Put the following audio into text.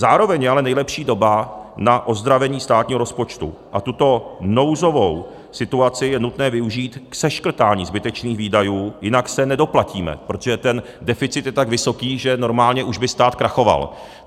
Zároveň je ale nejlepší doba na ozdravení státního rozpočtu a tuto nouzovou situaci je nutné využít k seškrtání zbytečných výdajů, jinak se nedoplatíme, protože ten deficit je tak vysoký, že normálně už by stát krachoval.